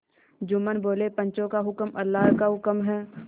जुम्मन बोलेपंचों का हुक्म अल्लाह का हुक्म है